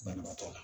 Banabaatɔ la